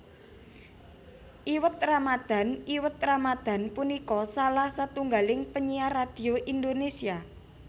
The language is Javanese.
Iwet Ramadhan Iwet Ramadhan punika salah setunggaling penyiar radhio Indonésia